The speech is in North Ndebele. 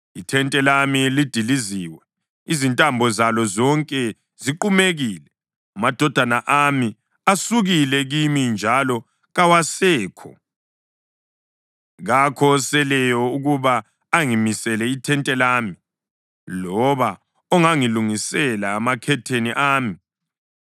Ithente lami lidiliziwe, izintambo zalo zonke ziqumekile. Amadodana ami asukile kimi njalo kawasekho, kakho oseleyo ukuba angimisele ithente lami, loba ongangilungisela amakhetheni ami.